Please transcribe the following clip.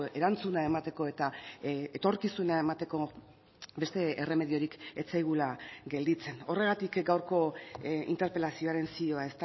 erantzuna emateko eta etorkizuna emateko beste erremediorik ez zaigula gelditzen horregatik gaurko interpelazioaren zioa